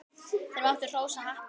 Þeir máttu hrósa happi.